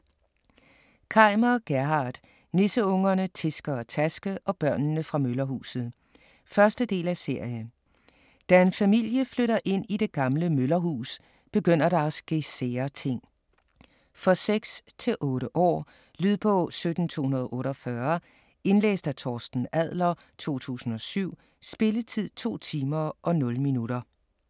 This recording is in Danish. Kaimer, Gerhard: Nisseungerne Tiske og Taske og børnene fra møllerhuset 1. del af serie. Da en familie flytter ind i det gamle møllerhus, begynder der at ske sære ting. For 6-8 år. Lydbog 17248 Indlæst af Torsten Adler, 2007. Spilletid: 2 timer, 0 minutter.